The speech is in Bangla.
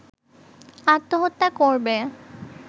আত্মহত্যা করবে